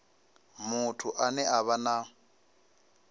muthu ane a vha na